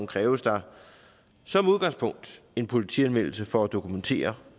kræves der som udgangspunkt en politianmeldelse for at dokumentere